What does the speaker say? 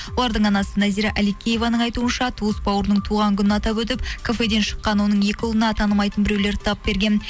олардың анасы нәзира әликееваның айтуынша туыс бауырының туған күнін атап өтіп кафеден шыққан оның екі ұлына танымайтын біреулер тап берген